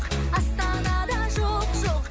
астанада жоқ жоқ